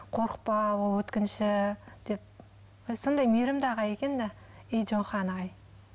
қорықпа ол өткінші деп өзі сондай мейрімді ағай екен де